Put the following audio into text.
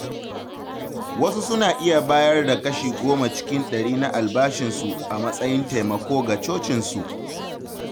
Wasu suna iya bayar da kashi goma cikin ɗari na albashinsu a matsayin taimako ga cocinsu.